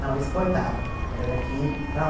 Não, exportava, porque era daqui para